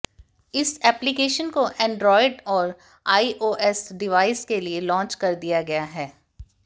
इस एप्लीकेशन को एंड्राइड और आईओएस डिवाइस के लिए लॉन्च कर दिया गया है